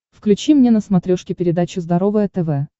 включи мне на смотрешке передачу здоровое тв